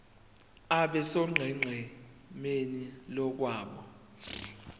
abe sonqenqemeni lomgwaqo